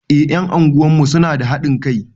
Eh ƴan unguwarmu suna da haɗin kai